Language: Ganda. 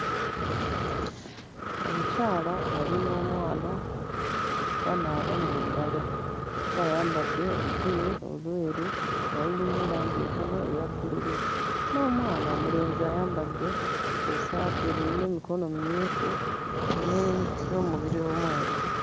Omukyala ali n'omwana banaaba mu ngalo. Omukyala ayambadde olugoye olweru nga lulimu langi entono eya bbululu, n'omwana omulenzi ayambadde essaati erimu emikono mimyufu ne n'omubiri omweru.